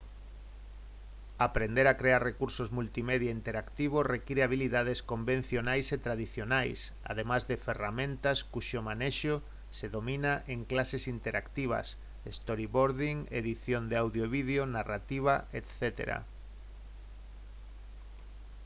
aprender a crear recursos multimedia interactivos require habilidades convencionais e tradicionais ademais de ferramentas cuxo manexo se domina en clases interactivas storyboarding edición de audio e vídeo narrativa etc.